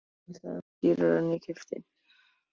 En ég sel það ekki dýrara en ég keypti.